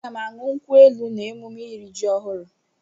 Aga m aṅụ nkwu elu n'emume iri ji ọhụrụ.